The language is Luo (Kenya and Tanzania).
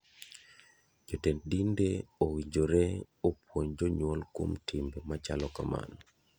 Jotend dinde owinjore opunj jonyuol kuom timbe machalo kamano.